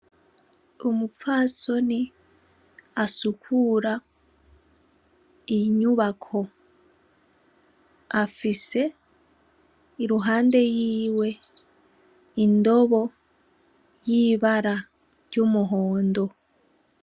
Umupfasoni asukura inyubako afise iruhande yiwe indobo y'ibara ry'umuhondo.